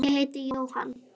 Ég heiti Jóhann.